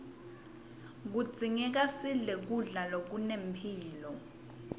kudzingeka sidle kudla lokunempilo